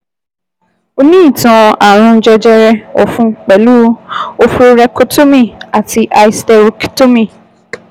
O ní ìtàn ààrùn jẹjẹrẹ ọ̀fun pẹ̀lú oophorectomy àti hysterectomy